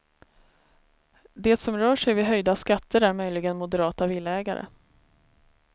Det som rör sig vid höjda skatter är möjligen moderata villaägare.